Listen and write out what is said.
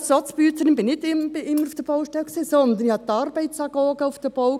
Als «Soz-Büezerin» war nicht ich auf der Baustelle, sondern ich hatte die Arbeitsagogen auf dem Bau;